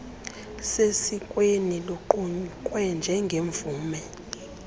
sesikweni luqukwe njengemvume